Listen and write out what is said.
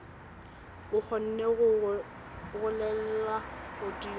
o kgone go golela godimo